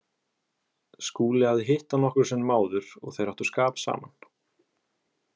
Skúli hafði hitt hann nokkrum sinnum áður og þeir áttu skap saman.